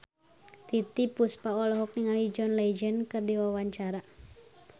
Titiek Puspa olohok ningali John Legend keur diwawancara